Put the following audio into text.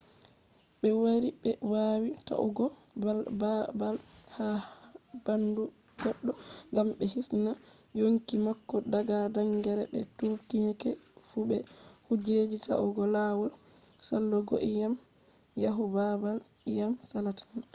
be wari be wawi ta’ugo babal ha bandu goddo gam be hisna yonki mako daga gangrene be tourniquets fu be kujeji ta’ugo lawol salugoiyam yahu babal iyam salata